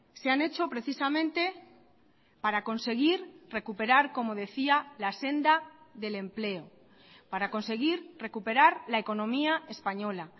se han hecho precisamente para conseguir recuperar como decía la senda del empleo para conseguir recuperar la economía española